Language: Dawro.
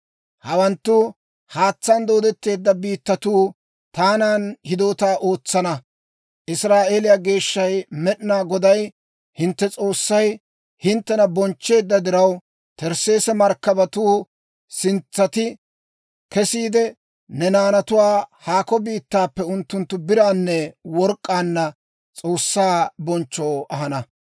Hawanttu Haatsaan dooddetteedda biittatuu taanan hidootaa ootsana. Israa'eeliyaa Geeshshay Med'inaa Goday hintte S'oossay hinttena bonchcheedda diraw, Tersseesse markkabatuu sintsati kesiide ne naanatuwaa haakko biittaappe unttunttu biraananne work'k'aanna S'oossaa bonchchoo ahana.